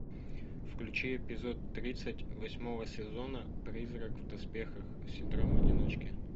включи эпизод тридцать восьмого сезона призрак в доспехах синдром одиночки